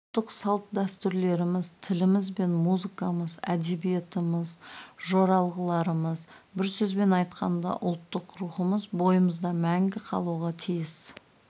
ұлттық салт-дәстүрлеріміз тіліміз бен музыкамыз әдебиетіміз жоралғыларымыз бір сөзбен айтқанда ұлттық рухымыз бойымызда мәңгі қалуға тиіс